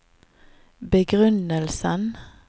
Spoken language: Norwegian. begrunnelsen